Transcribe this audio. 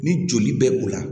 Ni joli bɛ o la